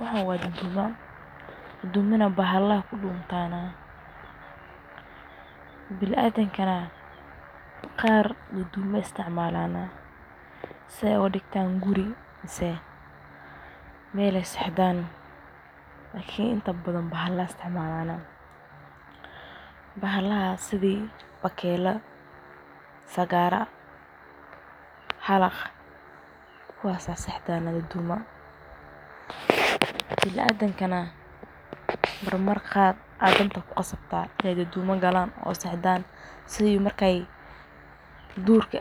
Waxan wa dudumo oo bahalada kunoyihin biniadanka qar aya dudumo isticmalo see ogadigtan guri mise meel ey sexdan balse inta badan bahalo aya isticmalan, bahalan sida sagar, halaq kuwas aya sexdan dudumada biniadankana waxa danta dkuqasabtan in ey dudumo isticmalan markey jdka